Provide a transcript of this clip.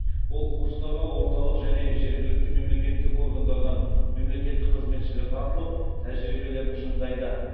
ол курстарға орталық және жергілікті мемлекеттік органдардан мемлекеттік қызметшілер тартылып тәжірибелерін шыңдайды